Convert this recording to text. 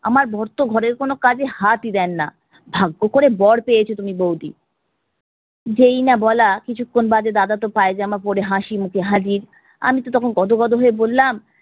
আমার বর তো ঘরের কোনো কাজে হাতই দেন না, ভাগ্য করে বর পেয়েছো তুমি বৌদি। যেই না বলা কিছুক্ষন বাদে দাদা তো পায়জামা পরে হাসি মুখে হাজির। আমিতো তখন গদগদ হয়ে বললাম